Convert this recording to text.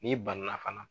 N'i banana fana